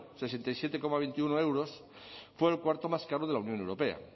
sesenta y siete coma veintiuno euros fue el cuarto más caro de la unión europea